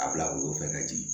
A bila woro fɛ ka jigin